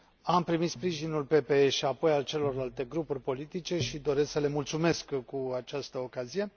Am primit sprijinul PPE și apoi al celorlalte grupuri politice și doresc să le mulțumesc cu această ocazie.